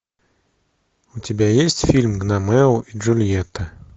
у тебя есть фильм гномео и джульетта